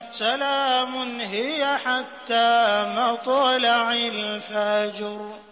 سَلَامٌ هِيَ حَتَّىٰ مَطْلَعِ الْفَجْرِ